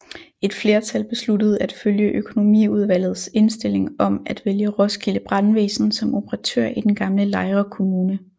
Et flertal besluttede at følge økonomiudvalgets indstilling om at vælge Roskilde Brandvæsen som operatør i den gamle Lejre Kommune